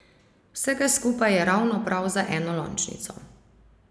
Vsega skupaj je ravno prav za enolončnico.